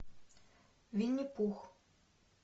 винни пух